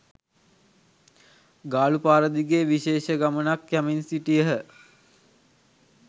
ගාලු පාර දිගේ විශේෂ ගමනක්‌ යමින් සිටියහ.